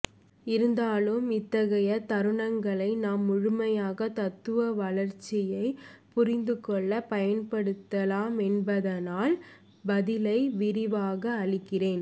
இருந்தாலும் இத்தகைய தருணங்களை நாம் முழுமையாக தத்துவ வளார்ச்சியை புரிந்துகொள்ள பயன்படுத்தலாமென்பதனால் பதிலை விரிவாக அளிக்கிறேன்